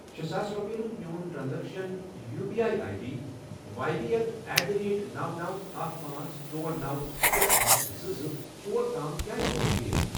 شے ساس رۄپِیَن ہُنٛد میون transaction U P I I D Y B L at the rate نوَ، نوَ، اکھَ، پانژھ، ژۄر، نوَ، شے، پانژھ، زٕ، زٕ ژور تام کیٛازِ گوٚو فیل؟